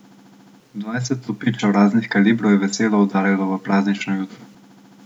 Dvajset topičev raznih kalibrov je veselo udarjalo v praznično jutro.